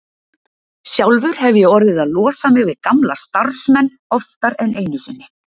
Sjálfur hef ég orðið að losa mig við gamla starfsmenn oftar en einu sinni.